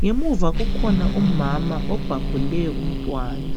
Ngemuva kukhona umama obhabhule umntwana.